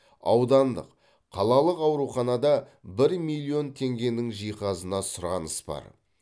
аудандық қалалық ауруханада бір миллион теңгенің жиһазына сұраныс бар